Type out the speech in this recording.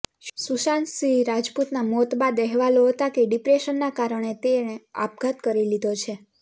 સુશાંત સિંહ રાજપૂતના મોત બાદ અહેવાલો હતા કે ડિપ્રેશનના કારણે તેણે આપઘાત કરી લીધો છે